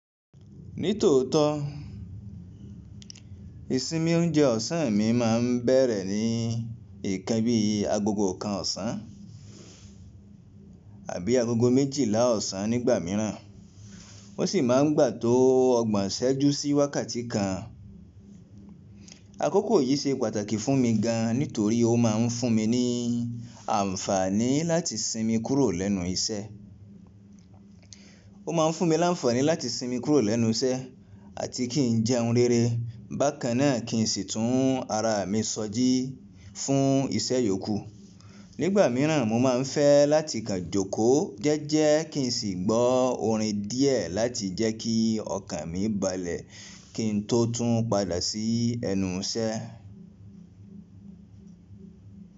Nítòótó, ìsinmi oúnjẹ ọ̀sán mi máa ń bẹ̀rẹ̀ ní nkan bí i agogo kan ọ̀sán abí agogo méjìlá ọ̀sán nígbà míràn. Wọ́n sì máa ń gbà tó ọgbọ̀n ṣẹ́jú sí wákàtí kan. Àkókò yìí ṣe pàtàkì fún mi gan nítorí ó máa ń fún mi ní àǹfààní láti sinmi kúrò lẹ́nu iṣẹ́. Ó ma ń fún mi láǹfààní láti sinmi kúrò lẹ́nu iṣẹ́ àti kí n jẹ hun rere bákan náà kí n sì tún ara mi ṣoji fún iṣẹ́ yòókù. Nígbà míràn mo máa ń fẹ́ láti kanjoko jẹ́ẹ́jẹ́ kí n sì gbọ́ orin díẹ̀ láti jẹ́ kí ọkàn mi balẹ̀ kí n tó tún padà sí ẹnu iṣẹ́.